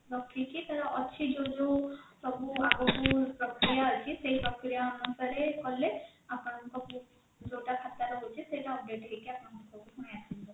ରଖିକି ତାର ଅଛି ଯୋଉ ଯୋଉ ସବୁ ଆଗକୁ ପ୍ରକ୍ରିୟା ଅଛି ସେଇ ପ୍ରକ୍ରିୟା ଅନୁସାରେ କଲେ ଆପଣଙ୍କ book ଯୋଉଟା ଖାତା ରହୁଛି ସେଇଟା update ହେଇକି ଆପଣଙ୍କ ପାଖକୁ ପୁଣି ଆସିଯିବ